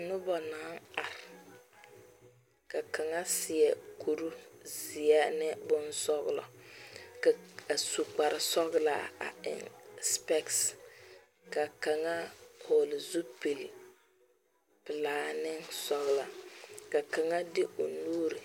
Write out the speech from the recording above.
Noba naŋ are ka kaŋa seɛ kurizeɛ ane bonsɔglɔ a su kparesɔglaa a eŋ spectacle ka kaŋa vɔgle zupilpelaa ne sɔglɔ ka kaŋa de o nuuri.